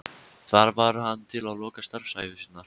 Þar var hann til loka starfsævi sinnar.